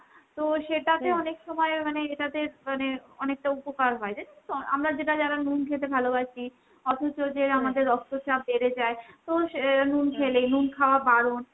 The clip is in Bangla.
তো সেটাতে সময় মানে এটাতে মানে অনেকটা উপকার হয় রে। জানিস তো আমরা যেটা যারা নুন খেতে ভালোবাসি অথচ যে রক্তচাপ বেড়ে যায় তো স নুন খেলেই, নুন খাওয়া বারণ।